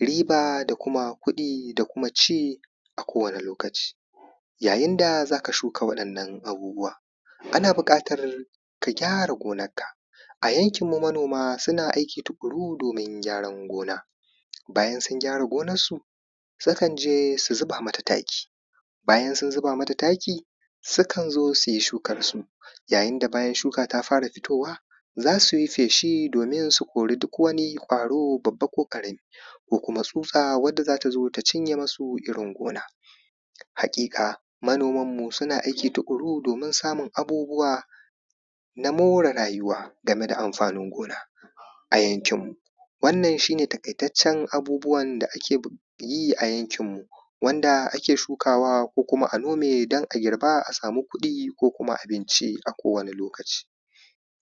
riba da kuma kuɗi da kuma ci a kowane lokaci yayin da za ka shuka wa’innan abubuwan ana buƙatar ka gyara gonarka a yankin mu manoma suna aiki tuƙuru domin gyaran gona bayan sun gyara gonar su sukan je su zuba mata taki bayan sun zuba mata taki sukan zo su yi shukar su yayin da bayan shuka ta fara fitowa za su yi feshi domin su kori duk wani ƙwaro babba ko ƙarami ko kuma tsutsa wacce za ta zo ta cinye musu irin gona haƙiƙa manoman mu suna aiki tuƙuru domin samun abubuwa na more rayuwa game da amfanin gona a yankin mu wannan shi ne taƙaitaccen abubuwan da ake yi a yankin mu wanda ake shuka wa ko kuma a nome don a girba a samu kuɗi ko kuma abinci a kowane lokaci